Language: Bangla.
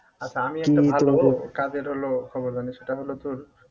আচ্ছা আমি একটা ভালো কাজের হলো খবর জানি সেটা হলো তোর